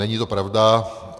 Není to pravda.